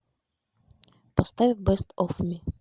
поставь бест оф ми